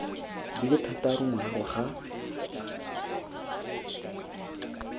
di le thataro morago ga